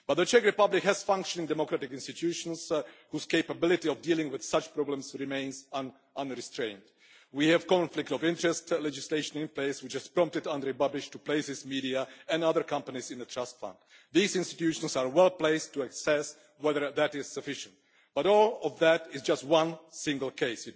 But the Czech Republic has functioning democratic institutions whose capability of dealing with such problems remains unrestrained. We have conflict of interest legislation in place which has prompted Andrej Babiš to place his media and other companies in a trust fund. These institutions are well placed to assess whether that is sufficient, but all of that is just one single case.